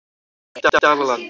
Dalalandi